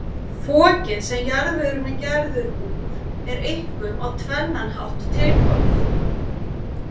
Fokið, sem jarðvegurinn er gerður úr, er einkum á tvennan hátt tilkomið.